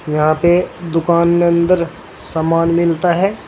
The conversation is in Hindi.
यहां पे दुकान में अंदर सामान मिलता है।